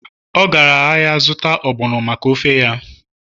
ọ gara ahịa zụta ogbono maka ofe ya